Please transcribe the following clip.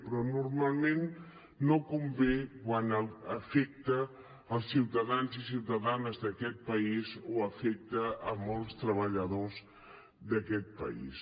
però normalment no convé quan afecta els ciutadans i ciutadanes d’aquest país o afecta molts treballadors d’aquest país